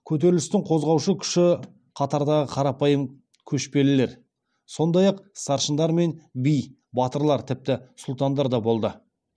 көтерілістің қозғаушы күші қатардағы қарапайым көшпелілер сондай ақ старшындар мен би батырлар тіпті сұлтандар да болды